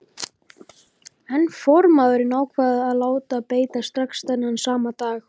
En formaðurinn ákvað að láta beita strax þennan sama dag.